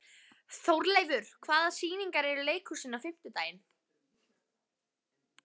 Þórleifur, hvaða sýningar eru í leikhúsinu á fimmtudaginn?